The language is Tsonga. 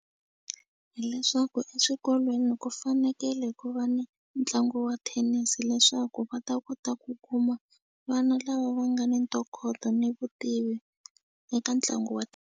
Hileswaku eswikolweni ku fanekele ku va ni ntlangu wa thenisi leswaku va ta kota ku kuma vana lava va nga ni ntokoto ni vutivi eka ntlangu wa .